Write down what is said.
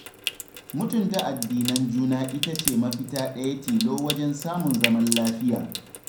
Mutunta addinan juna ita ce mafita ɗaya tilo wajen samun zaman lafiya.